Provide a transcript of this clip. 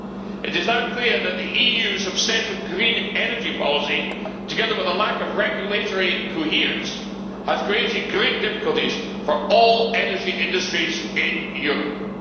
It is now clear that the EU's obsessive green energy policy, together with a lack of regulatory coherence, has created great difficulties for all energy industries in Europe.